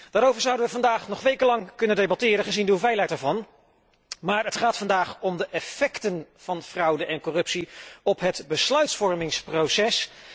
Daarover zouden wij vandaag nog wekenlang kunnen debatteren, gezien de omvang ervan, maar het gaat vandaag om de effecten van fraude en corruptie op het besluitvormingsproces.